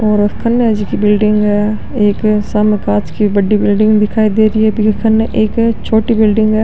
और केन है जी की बिलडिंग है एक सामने कांच की बड़ी बिलडिंग दिखाई दे रही है बि के कन एक छोटी बिलडिंग है।